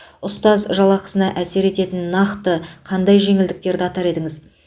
ұстаз жалақысына әсер ететін нақты қандай жеңілдіктерді атар едіңіз